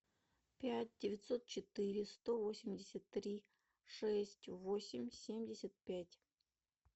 пять девятьсот четыре сто восемьдесят три шесть восемь семьдесят пять